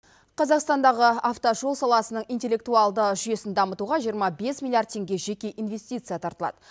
қазақстандағы автожол саласының интеллектуалды жүйесін дамытуға жиырма бес миллиард теңге жеке инвестиция тартылады